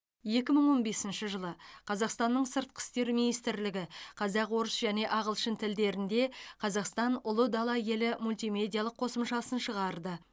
екі мың он бесінші жылы қазақстанның сыртқы істер министрлігі қазақ орыс және ағылшын тілдерінде қазақстан ұлы дала елі мультимедиялық қосымшасын шығарды